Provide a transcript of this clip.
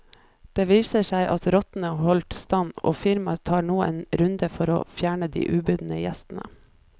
Det viste seg at rottene holdt stand og firmaet tar nå en ny runde for å fjerne de ubudne gjestene.